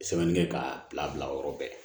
Sɛbɛnnikɛ k'a bila o yɔrɔ bɛɛ